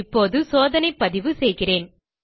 இப்போது சோதனை பதிவு செய்கிறேன்